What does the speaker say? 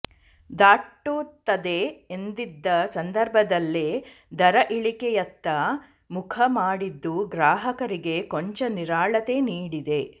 ದಾಟುತ್ತದೆ ಎಂದಿದ್ದ ಸಂದರ್ಭದಲ್ಲೇ ದರ ಇಳಿಕೆಯತ್ತ ಮುಖ ಮಾಡಿದ್ದು ಗ್ರಾಹಕರಿಗೆ ಕೊಂಚ ನಿರಾಳತೆ ನೀಡಿದೆ